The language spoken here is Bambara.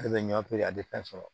Ale bɛ ɲɔ pee a tɛ fɛn sɔrɔ